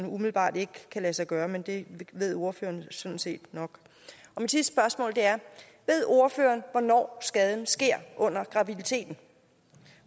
umiddelbart ikke kan lade sig gøre men det ved ordføreren sådan set nok mit sidste spørgsmål er ved ordføreren hvornår skaden sker under graviditeten